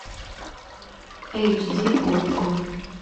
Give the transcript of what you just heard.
эйчди окко